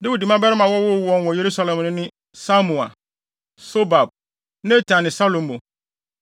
Dawid mmabarima a wɔwoo wɔn wɔ Yerusalem no ne Samua, Sobab, Natan ne Salomo,